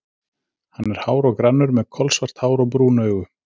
Hann er hár og grannur, með kolsvart hár og brún augu.